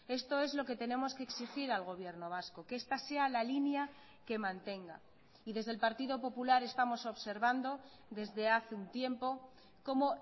esto es lo que tenemos que exigir al gobierno vasco que esta sea la línea que mantenga y desde el partido popular estamos observando desde hace un tiempo cómo